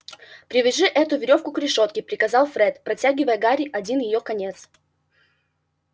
привяжи эту верёвку к решётке приказал фред протягивая гарри один её конец